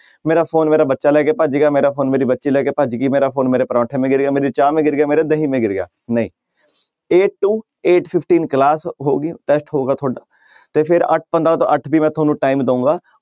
ਮੇਰਾ ਫ਼ੋਨ ਮੇਰਾ ਬੱਚਾ ਲੈ ਕੇ ਭੱਜ ਗਿਆ ਮੇਰਾ ਫ਼ੋਨ ਮੇਰੀ ਬੱਚੀ ਲੈ ਕੇ ਭੱਜ ਗਈ, ਮੇਰਾ ਫ਼ੋਨ ਮੇਰੇ ਪਰੋਂਠੇ ਮੇ ਗਿਰ ਗਿਆ, ਮੇਰੀ ਚਾਹ ਮੇ ਗਿਰ ਗਿਆ, ਮੇਰੇ ਦਹੀਂ ਮੇ ਗਿਰ ਗਿਆ, ਨਹੀਂ eight to eight fifteen class ਹੋਊਗੀ test ਹੋਊਗਾ ਤੁਹਾਡਾ ਤੇ ਫਿਰ ਅੱਠ ਪੰਦਰਾਂ ਤੋਂ ਅੱਠ ਵੀਹ ਮੈਂ ਤੁਹਾਨੂੰ time ਦਊਗਾ,